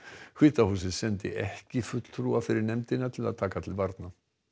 hvíta húsið sendi ekki fulltrúa fyrir nefndina til að taka til varna